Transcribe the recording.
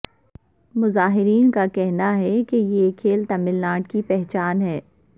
مظاہرین کا کہنا ہے کہ یہ کھیل تمل ناڈر کی پہچان ہے